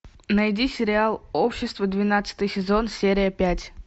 найди сериал общество двенадцатый сезон серия пять